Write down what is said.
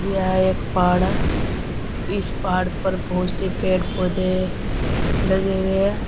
यह एक पहाड़ है। इस पहाड़ पर बोहोत से पेड़ पौधे लगे हुए हैं।